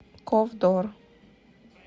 ковдор